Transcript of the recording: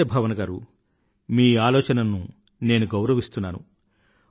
నమస్తే భావన గారూ మీ ఆలోచనను నేను గౌరవిస్తున్నాను